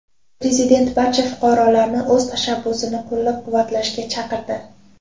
Prezident barcha fuqarolarni o‘z tashabbusini qo‘llab-quvvatlashga chaqirdi.